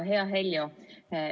Hea Heljo!